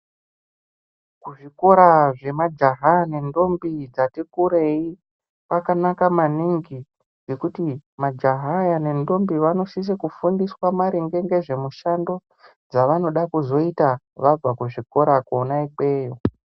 Kuzvikora zvemajaha nentombi dzati kureyi kwakanaka maningi ngekuti majaha aya nentombi vanosise kufundiswe maringe ngezvemushando dzavanozode kuzoita vabva kuzvikora kona ikweyo.